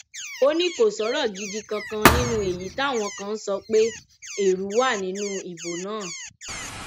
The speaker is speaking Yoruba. ó ní kó sọrọ gidi kankan nínú èyí táwọn kan ń sọ pé ẹrú wà nínú ìbò náà